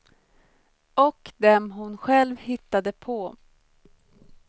Och dem hon själv hittade på.